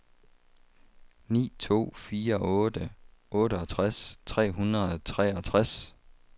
ni to fire otte otteogtres tre hundrede og treogtres